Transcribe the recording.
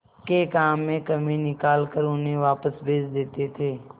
के काम में कमी निकाल कर उन्हें वापस भेज देते थे